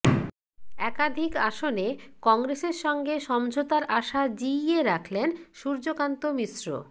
একাধিক আসনে কংগ্রেসের সঙ্গে সমঝোতার আশা জিইয়ে রাখলেন সূর্যকান্ত মিশ্র